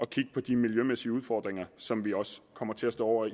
kigge på de miljømæssige udfordringer som vi også kommer til at stå over